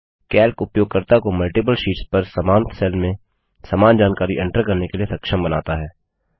Calc उपयोगकर्ता को multiple sheets पर समान सेल में समान जानकारी एंटर करने के लिए सक्षम बनाता है